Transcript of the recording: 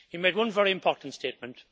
He made one very important statement.